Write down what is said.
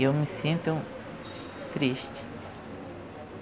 E eu me sinto triste.